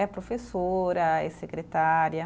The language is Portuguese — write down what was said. É professora, é secretária.